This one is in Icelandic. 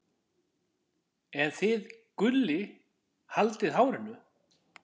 en þið Gulli haldið hárinu.